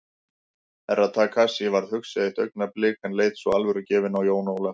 Herra Takashi varð hugsi eitt augnablik en leit svo alvörugefinn á Jón Ólaf.